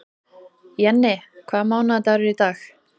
Jenni, hvaða mánaðardagur er í dag?